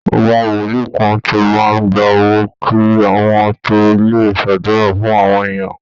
Àwọn Wolíì kan ti máa ń gba owó kí wọ́n tó lè ṣàdúrà fún àwọn èèyàn